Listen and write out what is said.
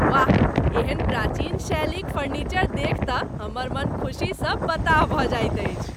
वाह! एहन प्राचीन शैलीक फर्निचर देखि तँ हमर मन खुसीसँ बताह भऽ जाइत अछि।